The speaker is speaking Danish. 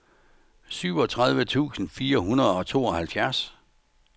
syvogtredive tusind fire hundrede og tooghalvfjerds